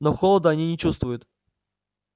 но холода они не чувствуют